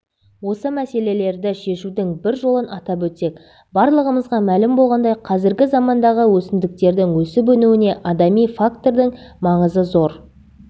осы мәселелерді шешудің бір жолын атап өтсек барлығымызға мәлім болғандай қазіргі замандағы өсімдіктердің өсіп-өнуіне адами фактордың маңызы зор